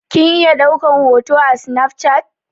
Kin iya ɗaukan hoto a snaf chat?